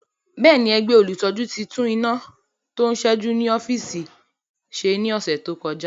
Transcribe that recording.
Bẹ́ẹ̀ni, ẹgbẹ́ olùtọ́jú ti tún iná tó ń ṣẹ́jú ní ọ́fíìsì ṣe ní ọ̀sẹ̀ tó kọjá